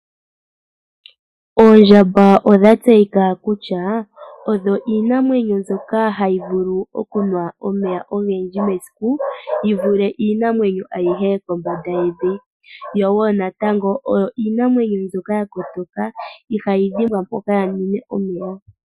Oondjamba odha tseyika kutya, odho iinamwenyo mbyoka ha yi vulu okunwa omeya ogendji mesiku yi vule iinamwenyo ayihe kombanda yevi, yo woo natango oyo iinamwenyo mbyoka yakotoka ihayi dhimbwa mpoka ya mwine omeya.